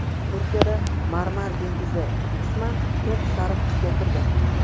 Turkiyada Marmar dengizi qisman to‘q sariq tusga kirdi.